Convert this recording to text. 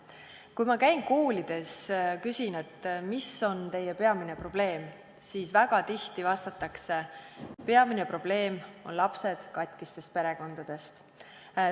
Kui ma käin koolides ja küsin, mis on teie peamine probleem, siis väga tihti vastatakse: peamine probleem on lapsed katkistest perekondadest.